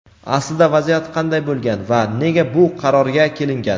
Aslida vaziyat qanday bo‘lgan va nega bu qarorga kelingan?.